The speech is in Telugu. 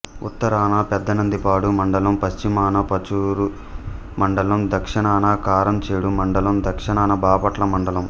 ఉత్తరాన పెదనందిపాడు మండలం పశ్చిమాన పరుచూరు మండలం దక్షణాన కారంచేడు మండలం దక్షణాన బాపట్ల మండలం